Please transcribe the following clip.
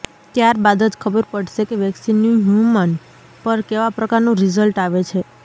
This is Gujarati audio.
ત્યારબાદ જ ખબર પડશે કે વેક્સીનનું હ્યુમન પર કેવા પ્રકારનું રિઝલ્ટ આવે છે